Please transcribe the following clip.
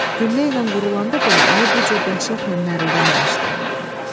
Gülllə ilə vurulanda belə ayı bu cür dəhşətlə nərəldəməmişdi.